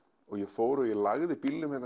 og ég fór og ég lagði